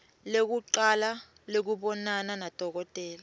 lekucala lekubonana nadokotela